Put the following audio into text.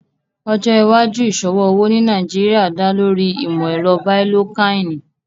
Ọjọ́ iwàjúù iṣọwọ owo ní Nàìjíríà dá lórí ìmọ̀-ẹ̀rọ̀ bíalòkàinì